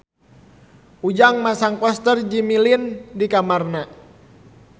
Ujang masang poster Jimmy Lin di kamarna